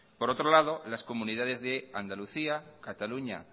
por otro lado las comunidades de andalucía cataluña